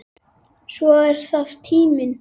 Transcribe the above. Svo er það tíminn.